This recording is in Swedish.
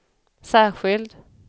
särskild